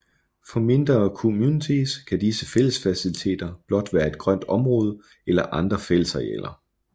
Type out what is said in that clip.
For mindre communities kan disse fællesfaciliteter blot være et grønt område eller andre fællesarealer